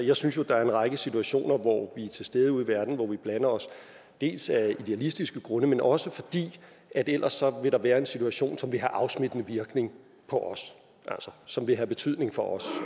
jeg synes jo at der er en række situationer hvor vi er til stede ude i verden hvor vi blander os dels af idealistiske grunde men også fordi der ellers vil være en situation som vil have en afsmittende virkning på os som vil have betydning for os